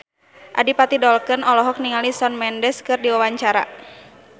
Adipati Dolken olohok ningali Shawn Mendes keur diwawancara